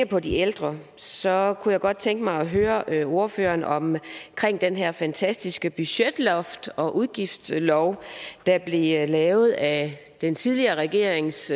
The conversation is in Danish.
på de ældre så kunne godt tænke mig at høre ordføreren om den her fantastiske budgetlov om udgiftslofter der blev lavet af den tidligere regerings